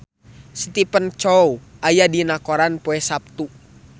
Stephen Chow aya dina koran poe Saptu